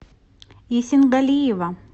есенгалиева